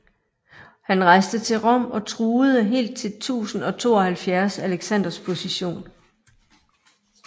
Han rejste til Rom og truede helt til 1072 Alexanders position